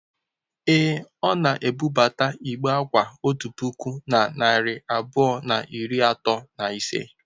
Ee, ọ na-ebubata igbe akwa otu puku na narị abụọ na iri atọ na ise.